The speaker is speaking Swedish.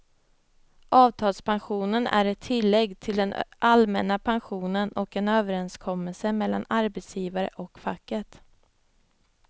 Avtalspensionen är ett tillägg till den allmänna pensionen och en överenskommelse mellan arbetsgivaren och facket.